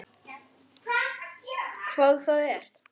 Hvað það er?